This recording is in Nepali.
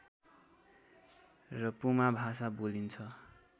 र पुमा भाषा बोलिन्छ